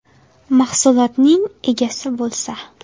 Mahsulotining egasi bo‘lsa.